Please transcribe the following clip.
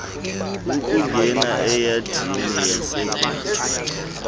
akungena eyaridini yasebhotwe